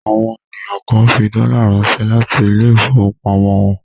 Àwọn ènìyàn kan fi dọ́là ránṣẹ́ láti ilé-ìfowópamọ́sí wọn.